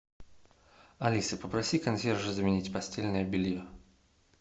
алиса попроси консьержа заменить постельное белье